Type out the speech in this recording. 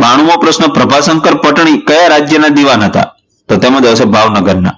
બાણુમો પ્રશ્ન પ્રભા સંકર પટણી કયા રાજ્યના દીવાન હતા? તો તેમાં જવાબ આવશે ભાવનગર ના.